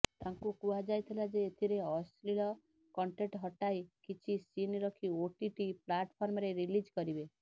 ତାଙ୍କୁ କୁହାଯାଇଥିଲା ଯେ ଏଥିରେ ଅଶ୍ଳୀଳ କଣ୍ଟେଣ୍ଟ ହଟାଇ କିଛି ସିନ୍ ରଖି ଓଟିଟି ପ୍ଲାଟଫର୍ମରେ ରିଲିଜ କରିବେ